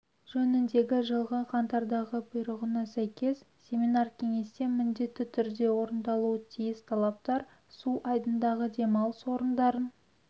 жөніндегі жылғы қаңтардағы бұйрығына сәйкес семинар-кеңесте міндетті түрде орындалуы тиіс талаптар су айдындағы демалыс орындарын